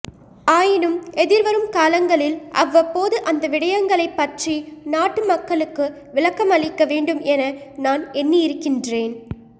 ஆயினும் எதிர்வரும் காலங்களில் அவ்வப்போது அந்த விடயங்களைப்பற்றி நாட்டு மக்களுக்கு விளக்கமளிக்க வேண்டும் என நான் எண்ணியிருக்கின்றேன்